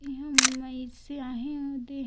इहा मइसे आहे ओ दे--